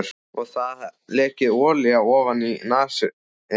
Það hafði lekið olía ofaní nasir hans.